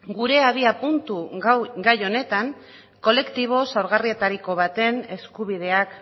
gure abiapuntu gai honetan kolektibo zaurgarrietariko baten eskubideak